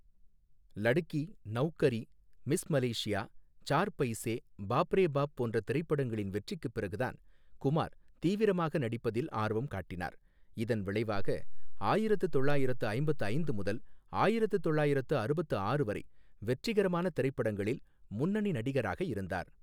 Ladki, Naukri, Miss Malaysia, Char Paise, Baap Re Baap போன்ற திரைப்படங்களின் வெற்றிக்குப் பிறகுதான் குமார் தீவிரமாக நடிப்பதில் ஆர்வம் காட்டினார், இதன் விளைவாக ஆயிரத்து தொள்ளாயிரத்து ஐம்பத்து ஐந்து முதல் ஆயிரத்து தொள்ளாயிரத்து அறுபத்து ஆறு வரை வெற்றிகரமான திரைப்படங்களில் முன்னணி நடிகராக இருந்தார்.